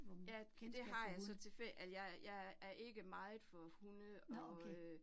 ja, det har jeg så, altså jeg er jeg er er ikke meget for hunde og øh